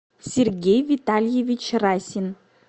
сергей витальевич расин